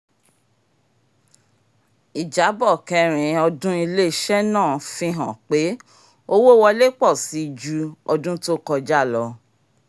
ìjábọ̀ kẹ́rìn-ín-ọdún ilé-iṣẹ́ náà fi hàn pé owó wọlé pọ̀ síi ju ọdún tó kọjá lọ